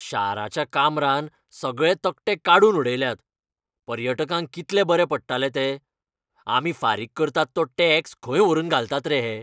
शाराच्या काम्रान सगळे तकटे काडून उडयल्यात. पर्यटकांक कितले बरे पडटाले ते. आमी फारीक करतात तो टॅक्स खंय व्हरून घालतात रे हे?